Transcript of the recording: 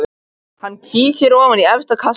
Hann kíkir ofan í efsta kassann.